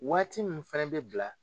Waati min fana bɛ bila